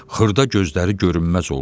Xırda gözləri görünməz oldu.